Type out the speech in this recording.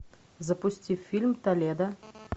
запусти фильм толедо